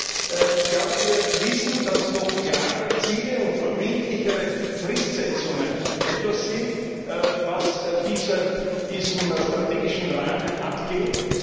Aber wir wissen, dass noch klarere Ziele und verbindlichere Fristsetzungen etwas sind, was diesem strategischen Rahmen abgeht.